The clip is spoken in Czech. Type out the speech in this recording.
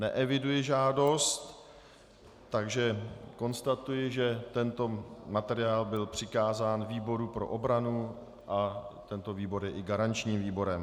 Neeviduji žádost, takže konstatuji, že tento materiál byl přikázán výboru pro obranu a tento výbor je i garančním výborem.